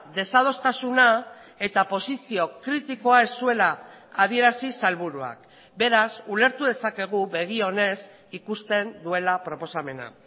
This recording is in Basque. desadostasuna eta posizio kritikoa ez zuela adierazi sailburuak beraz ulertu dezakegu begi onez ikusten duela proposamena